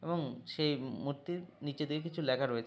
এবং সেই মূ-উ-র্তির নিচে কিছু লেখা রয়েছ--